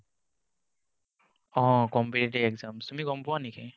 অহ competitive exams, তুমি গম পোৱা নেকি?